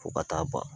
Fo ka taa ban